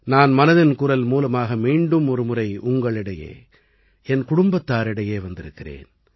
நான் மனதின் குரல் மூலமாக மீண்டும் ஒருமுறை உங்களிடையே என் குடும்பத்தாரிடையே வந்திருக்கிறேன்